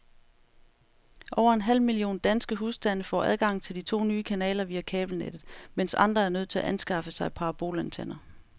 Over en halv million danske husstande får adgang til de to nye kanaler via kabelnettet, mens andre er nødt til at anskaffe sig parabolantenner.